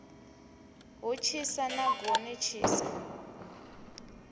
hu tshisa na goni tshisa